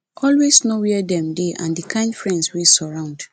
always know where dem dey and the kind friends wey surround